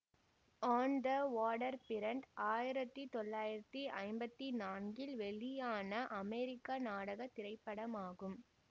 on the waterfront ஆயிரத்தி தொள்ளாயிரத்தி ஐம்பத்தி நான்கில் வெளியான அமெரிக்க நாடக திரைப்படமாகும்